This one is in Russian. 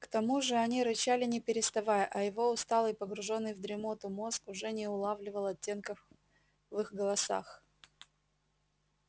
к тому же они рычали не переставая а его усталый погружённый в дремоту мозг уже не улавливал оттенков в их голосах